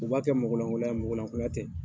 U b'a kɛ mɔgɔlankonloya ye, mɔgɔlankonloya tɛ.